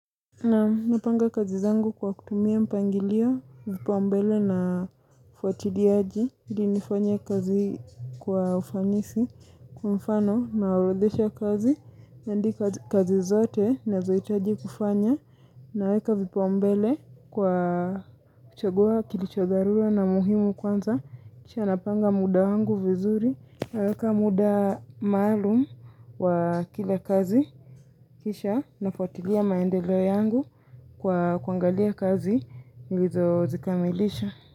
Naam, napanga kazi zangu kwa kutumia mpangilio, vipao mbele na ufuatiliaji. Ili nifanye kazi kwa ufanisi, kwa mfano naorodhesha kazi. Ndi kazi zote nazohitaji kufanya. Naweka vipaumbele kwa kuchagua kilicho dharura na muhimu kwanza. Kisha napanga muda wangu vizuri. Naweka muda maalum wa kila kazi. Kisha nafuatilia maendeleo yangu. Kwa kuangalia kazi nilizozikamilisha.